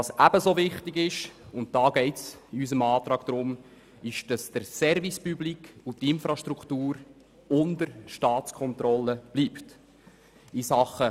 Ebenso wichtig ist aber, dass der Service Public und die Infrastruktur unter Staatskontrolle bleiben, und darum geht es in unserem Antrag.